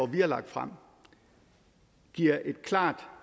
vi har lagt frem giver et klart